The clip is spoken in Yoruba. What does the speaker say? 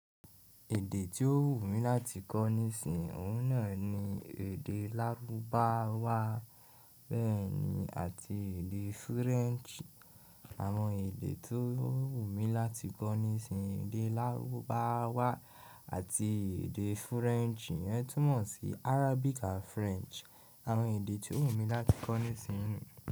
Èdè tí ó wù mí láti kọ́ nísinsìnyí òun náà ni èdè lárúbáwá bẹ́ẹ̀ ni àti èdè French. Àwọn èdè tó wù mí láti kọ́ nísin èdè lárúbáwá àti èdè French iyẹn túmọ̀ sí Arabic and French àwọn èdè tí ó wù mí láti kọ́ nísinsìnyí.